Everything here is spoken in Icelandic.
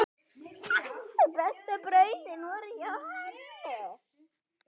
Bestu brauðin voru hjá henni.